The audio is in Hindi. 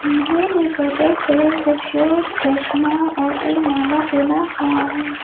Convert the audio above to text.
उन्होंने पर्पल कलर का शर्ट चश्मा और एक माला पहना हुआ है।